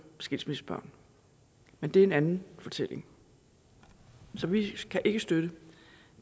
skilsmissebørn men det er en anden fortælling så vi kan ikke støtte